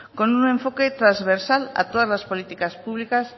con un enfoque trasversal a todas la políticas públicas